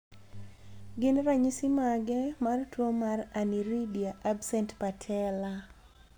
Gin ranyisis mage mar tuo mar Aniridia absent patella?